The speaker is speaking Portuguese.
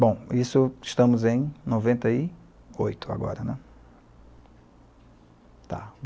Bom, estamos em noventa e oito agora, né, tá.